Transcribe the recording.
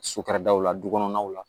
So kadaw la du kɔnɔnaw la